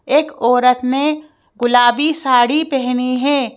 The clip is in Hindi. एक औरत ने गुलाबी साड़ी पहनी है।